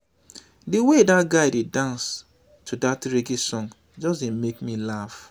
the way dat guy dey dance to dat reggae song just dey make me laugh